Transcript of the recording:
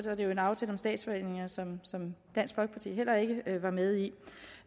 en aftale om statsforvaltningerne som som dansk folkeparti heller ikke var med i